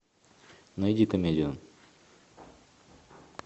найди комедию